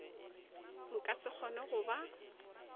nka se kgone go ba